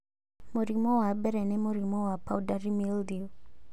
Mũrimũ wa mbere nĩ mũrimũ wa powdery mildew